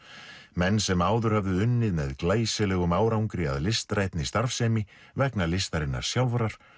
menn sem áður höfðu unnið með glæsilegum árangri að listrænni starfsemi vegna listarinnar sjálfrar